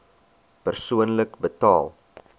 persoonlik betaal